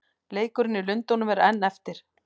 Leikurinn í Lundúnum er enn eftir.